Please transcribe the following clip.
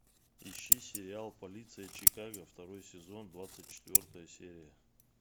ищи сериал полиция чикаго второй сезон двадцать четвертая серия